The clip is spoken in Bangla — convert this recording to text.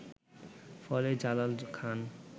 ফলে জালাল খান